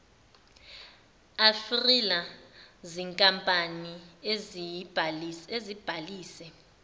afrila zinkampani ezibhalise